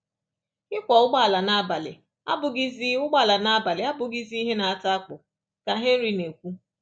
"Ịkwọ ụgbọala n’abalị abụghịzi ụgbọala n’abalị abụghịzi ihe na-ata akpụ,” ka Henry na-ekwu.